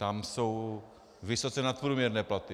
Tam jsou vysoce nadprůměrné platy.